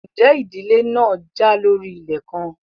Ǹjẹ́ ìdílé náà já lórí ilẹ̀ kan?